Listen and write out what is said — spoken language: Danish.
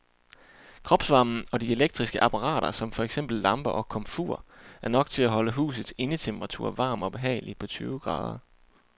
Kropsvarmen og de elektriske apparater som for eksempel lamper og komfur er nok til at holde husets indetemperatur varm og behagelig på tyve grader.